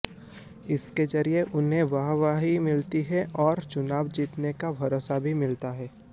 इसके जरिए उन्हें वाहवाही मिलती है और चुनाव जीतने का भरोसा भी मिलता है